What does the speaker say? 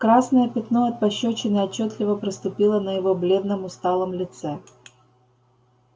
красное пятно от пощёчины отчётливо проступило на его бледном усталом лице